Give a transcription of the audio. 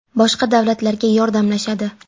Boshqa davlatlarga yordamlashadi.